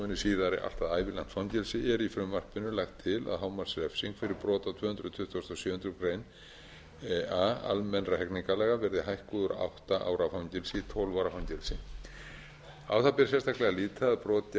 síðara allt að ævilangt fangelsi er í frumvarpinu lagt til að hámarksrefsing fyrir brot á tvö hundruð tuttugustu og sjöundu grein a almennra hegningarlaga verði hækkuð úr átta ára fangelsi í tólf ára fangelsi á það ber sérstaklega að líta að brot gegn